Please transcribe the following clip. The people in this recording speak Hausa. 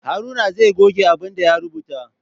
Haruna zai goge abin da ya rubuta.